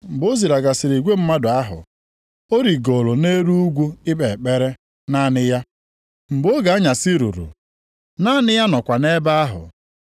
Mgbe ọ zilagasịrị igwe mmadụ ahụ, ọ rigooro nʼelu ugwu ikpe ekpere, naanị ya. Mgbe oge anyasị ruru, naanị ya nọkwa na-ebe ahụ.